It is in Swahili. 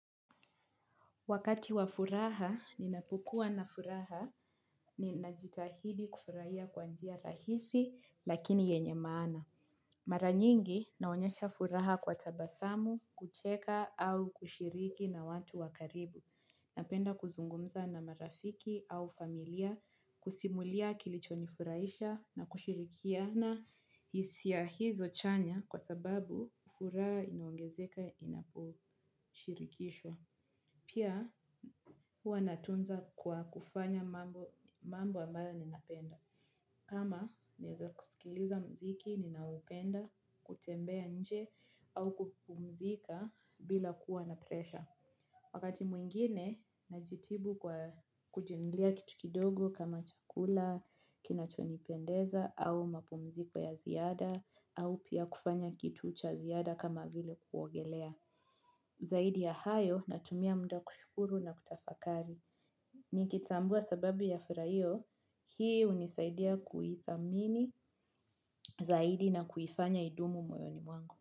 Wakati wa furaha ninapokuwa na furaha ninajitahidi kufurahia kwa njia rahisi lakini yenye maana. Mara nyingi, naonyesha furaha kwa tabasamu, kucheka, au kushiriki na watu wa karibu. Napenda kuzungumza na marafiki au familia kusimulia kilicho nifurahisha na kushirikiana hisia hizo chanya kwasababu furaha inaongezeka inaposhirikishwa. Pia huwa natunza kwa kufanya mambo ambayo ninapenda. Ama naweza kusikiliza muziki, ninaoupenda, kutembea nje, au kupumzika bila kuwa na presha. Wakati mwingine, najitibu kwa kujinunulia kitu kidogo kama chakula, kinachonipendeza, au mapumziko ya ziada, au pia kufanya kitu cha ziada kama vile kuogelea. Zaidi ya hayo natumia muda kushukuru na kutafakari. Nikitambua sababu ya furaha hiyo, hii unisaidia kuithamini zaidi na kuifanya idumu moyoni mwangu.